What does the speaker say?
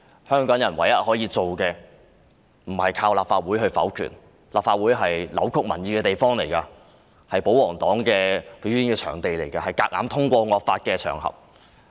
香港人唯一可以做的不是靠立法會否決，因為立法會是扭曲民意的地方，亦是保皇黨的表演場地和強行通過惡法的場合。